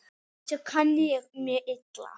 Þessu kann ég mjög illa.